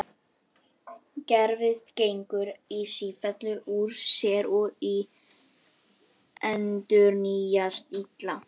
Gervið gengur í sífellu úr sér og endurnýjast illa.